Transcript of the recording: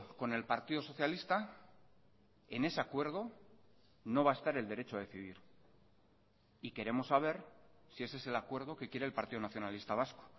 con el partido socialista en ese acuerdo no va a estar el derecho a decidir y queremos saber si ese es el acuerdo que quiere el partido nacionalista vasco